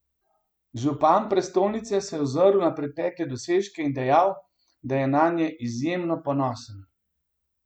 Župan prestolnice se je ozrl na pretekle dosežke in dejal, da je nanje izjemno ponosen.